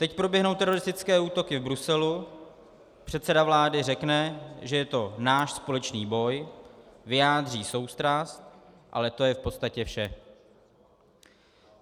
Teď proběhnou teroristické útoky v Bruselu, předseda vlády řekne, že je to náš společný boj, vyjádří soustrast, ale to je v podstatě vše.